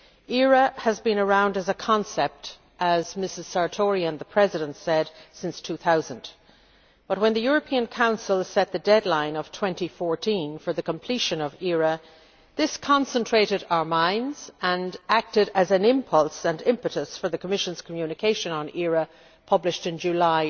ERA has been around as a concept as Mrs Sartori and the President said since 2000, but when the European Council set the deadline of 2014 for the completion of ERA, this concentrated our minds and acted as an impulse and impetus for the Commission's communication on ERA published in July